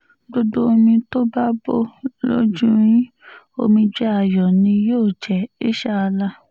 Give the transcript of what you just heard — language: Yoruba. gbogbo omi tó bá bọ́ lójú yín omijé ayọ̀ ni yóò jẹ́ insha allah